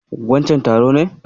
Wancen taro ne.